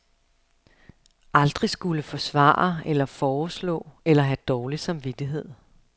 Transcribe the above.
Aldrig skulle forsvare eller foreslå eller have dårlig samvittighed.